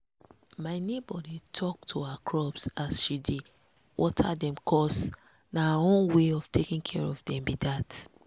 my neighbour dey talk to her crops as she dey dey water dem cos na her own way of taking care of dem be that.